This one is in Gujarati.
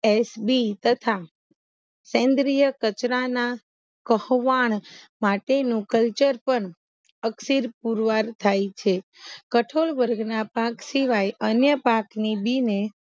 એસ બી તથા કેન્દ્રીય કચરાના કહોવાન માટેનું કલ્ચર પણ અકસીર પુરવાર થાય છે કઠોળ વર્ગના પાક સિવાય અન્ય પાક ની બી ને